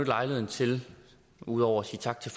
lejligheden til ud over at sige tak til